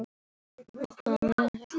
hugsaði Emil.